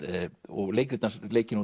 og leikrit hans eru leikin